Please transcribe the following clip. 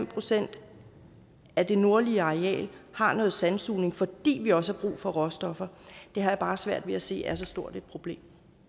procent af det nordlige areal har noget sandsugning fordi vi også har brug for råstoffer har jeg bare svært ved at se er så stort et problem